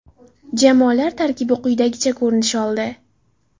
Jamoalar tarkibi quyidagicha ko‘rinish oldi.